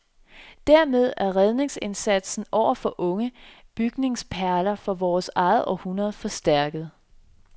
Dermed er redningsindsatsen over for unge bygningsperler fra vores eget århundrede forstærket.